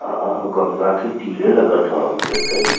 अ अ गंगा के तीरे लगत ह हमके त इ।